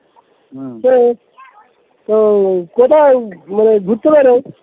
হম তো তো কোথাও মানে ঘুরতে বাইরও